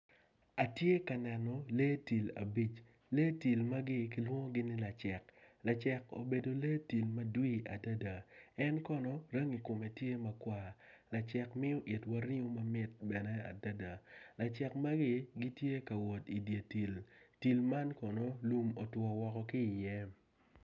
Atye ka neno lee tim abic, lee tim magi kilwongogi ni lacek lacek obedo lee tim madwir adada en kono rangi kome tye makwar lacek miyo botwa ringo mamit adada lacek magi gitye ka wot i dyer tim tim man kono lum otwo woko ki iye